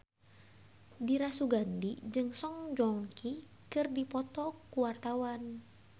Dira Sugandi jeung Song Joong Ki keur dipoto ku wartawan